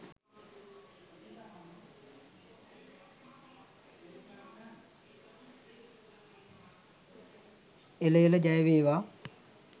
එළ එළ ජය වේවා!